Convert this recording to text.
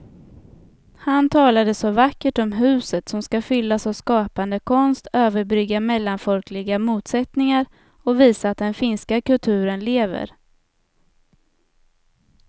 Han talade så vackert om huset som skall fyllas av skapande konst, överbrygga mellanfolkliga motsättningar och visa att den finska kulturen lever.